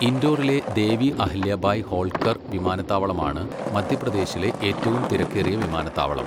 ഇൻഡോറിലെ ദേവി അഹല്യഭായ് ഹോൾക്കർ വിമാനത്താവളമാണ് മധ്യപ്രദേശിലെ ഏറ്റവും തിരക്കേറിയ വിമാനത്താവളം.